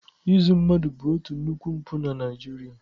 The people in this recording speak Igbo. Izu mmanụ bụ otu nnukwu mpụ na Naịjirịa.